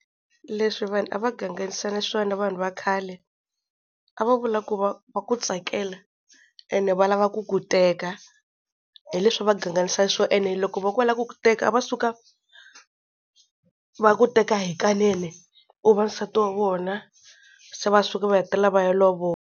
Leswi vanhu a va gangananisana swona vanhu va khale a va vula ku va va ku tsakela, ene va lava ku ku teka, hi leswi a va ganganisana swona, ene loko va ku va lava ku ku teka a va suka va ku teka hikanene u va nsati wa vona se va suka va hetelela va ya lovola.